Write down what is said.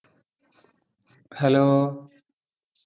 hello